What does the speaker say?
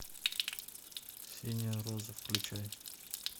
синяя роза включай